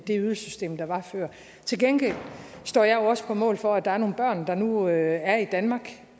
det ydelsessystem der var før til gengæld står jeg jo også på mål for at der er nogle børn der nu er i danmark